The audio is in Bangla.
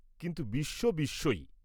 কিন্তু বিশ্ব বিশ্বই।